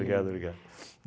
Obrigado, obrigado.